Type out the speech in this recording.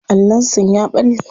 Allon sun ya balle.